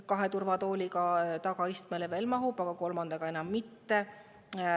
Kahe turvatooliga tagaistmele veel mahub, aga kolmandaga enam mitte.